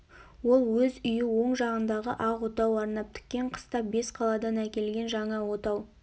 ол өз үйі оң жағындағы ақ отау арнап тіккен қыста бесқаладан әкелген жаңа отау